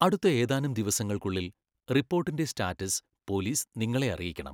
അടുത്ത ഏതാനും ദിവസങ്ങൾക്കുള്ളിൽ റിപ്പോർട്ടിന്റെ സ്റ്റാറ്റസ് പോലീസ് നിങ്ങളെ അറിയിക്കണം.